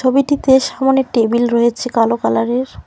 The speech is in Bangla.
ছবিটিতে সামোনে টেবিল রয়েছে কালো কালার -এর।